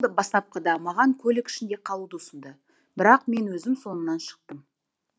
бастапқыда маған көлік ішінде қалуды ұсынды бірақ мен өзім соңынан шықтым